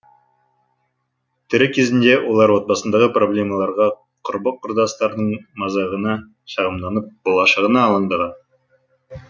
тірі кезінде олар отбасындағы проблемаларға құрбы құрдастарының мазағына шағымданып болашағына алаңдаған